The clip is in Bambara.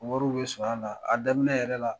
Wariw bi sɔrɔ a la a daminɛ yɛrɛ la